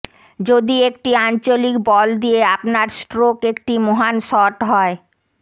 যদি একটি আঞ্চলিক বল দিয়ে আপনার স্ট্রোক একটি মহান শট হয়